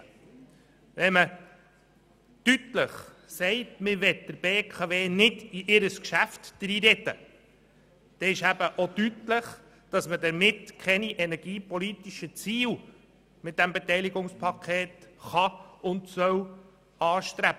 Wenn man deutlich sagt, man will der BKW nicht in ihr Geschäft hineinreden, dann wird eben auch deutlich, dass man mit diesem Beteiligungspaket keine energiepolitischen Ziele anstreben kann und soll.